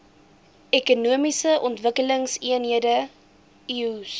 ekonomiese ontwikkelingseenhede eoes